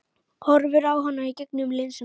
Horfir á hana í gegnum linsuna.